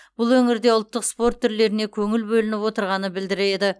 бұл өңірде ұлттық спорт түрлеріне көңіл бөлініп отырғаны білдіреді